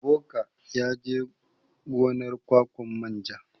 Ebuka yaje gonar ƙwaƙwan manja.